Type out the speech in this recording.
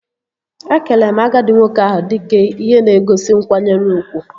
Ekele m agadi nwoke ahụ dike ihe na-egosi nkwanyere ugwu